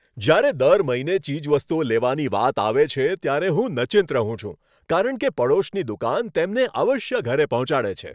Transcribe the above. જ્યારે દર મહિને ચીજવસ્તુઓ લેવાની વાત આવે છે, ત્યારે હું નચિંત રહું છું કારણ કે પડોશની દુકાન તેમને અવશ્ય ઘરે પહોંચાડે છે.